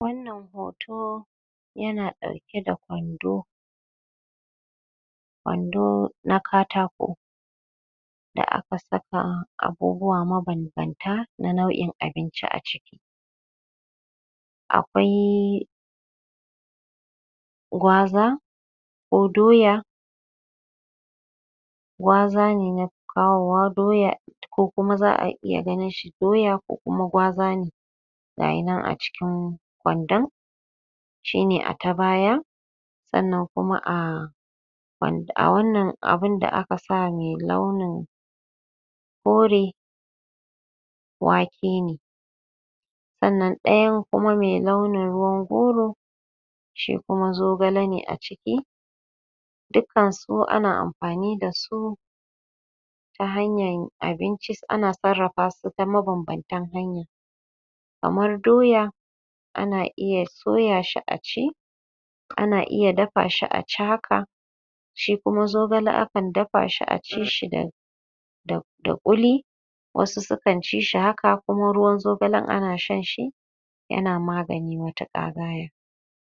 wannan hoto ya na dauke da kwando kwando na katako da aka saka abubuwa mabanbantana nau'in abinci a ciki akwai gwaza ko doya gwazo ne na fi kawowa doya ko kuma za'a iya ganin shi doya ko kuma gwaza ne ga yi nan a cikin kwandon shi ne a ta baya sannan kuma a a wannan abinda aka sa mai launin kore wake ne sannan ɗaya kuma mai launin ruwan goro shi kuma zogale ne a ciki dukkan su ana amfani da su ta hanyan abinci ana sarrafa su ta mabanbantan hanya kamar doya ana iya soya shi a ci ka na iya dafa shi a ci haka shi kuma zogale akan dafa shi a ci shi da da ƙuli wasu sukan ci haka kuma ruwan zogalen ana shan shi ya na magani matuƙa gaya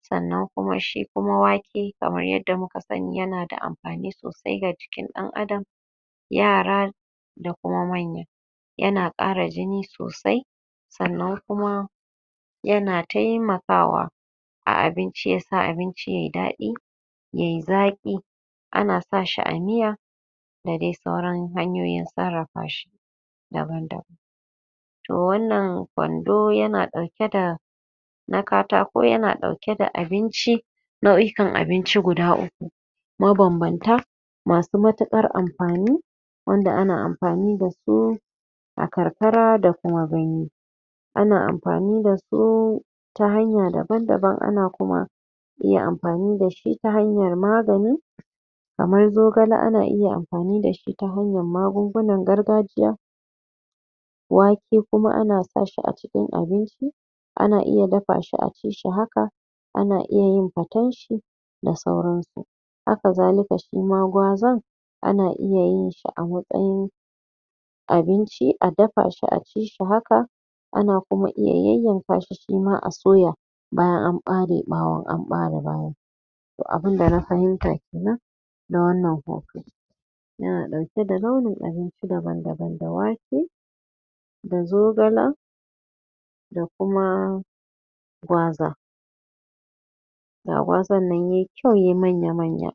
sannan shi kuma wake kamar yadda muka sani ya na da amfani a sosai ga jikin ɗan adam yara da kuma manya ya na ƙara jini sosai sannan kuma yana taimakawa a abinci ya sa abinci yayi daɗi yayi zaƙi a na sa shi a miya da dai sauran hanyoyin sarrafa shi daban-daban to wannan kwando ya na ɗauke da na katako ya na ɗauke da abinci nau'ikan abinci guda uku mabanbanta masu matuƙar amfani wanda ana amfani da su a karkara da kuma birni ana amfani da su ta hnaya daban daban ana kuma yin amfani da su ta hanyar magani kamar zogala ana iya amfani shi ta hanyar magungunan gargajiya wake kuma ana sa shi a cikin abinci a na iya dafa shi a ci shi haka ana iya yin paten shi da sauran su haka zalika shima gwazan ana iya yin shi a matsayin abinci a dafa shi a ci shi haka ana kuma iya yanyanka shi shi ma soya bayan an ɓare ɓawon an ɓare bayan abinda na fahimta kenan na wannan hoto ya na ɗauke da launin abinci daban daban da wake da zogala da kuma gwaza ga gwazan nan yai kyau yai manyamanya